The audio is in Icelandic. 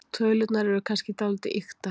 Tölurnar eru kannski dálítið ýktar.